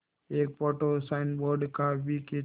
एक photo signboard का भी खींचा